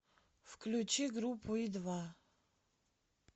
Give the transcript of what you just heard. включи группу и два